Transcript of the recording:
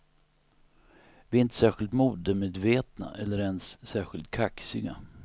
Vi är inte särskilt modemedvetna eller ens särskilt kaxiga.